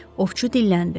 Ovçu dilləndi.